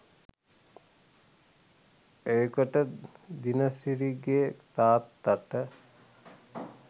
ඒකට දිනසිරිගෙ තාත්තට